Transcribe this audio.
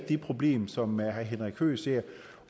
det problem som herre henrik høegh ser